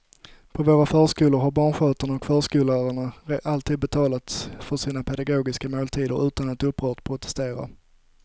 På våra förskolor har barnskötarna och förskollärarna alltid betalat för sina pedagogiska måltider utan att upprört protestera.